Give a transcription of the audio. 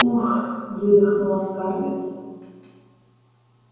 ух выдохнула скарлетт